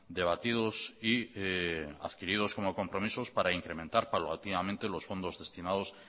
debatidos y adquiridos como compromisos para incrementar paulatinamente los fondos destinados